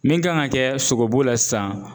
Min kan ŋa kɛ sogobu la sisan